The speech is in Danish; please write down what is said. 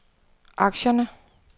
aktierne